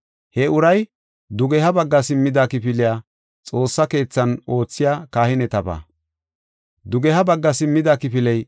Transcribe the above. He uray, “Dugeha bagga simmida kifiley Xoossa keethan oothiya kahinetaba.